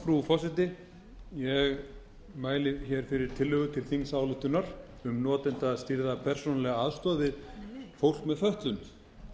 frú forseti ég mæli fyrir tillögu til þingsályktunar um notendastýrða persónulega aðstoð við fólk með fötlun